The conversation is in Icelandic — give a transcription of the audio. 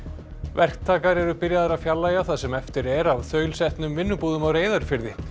verktakar eru byrjaðir að fjarlægja það sem eftir er af þaulsetnum vinnubúðum á Reyðarfirði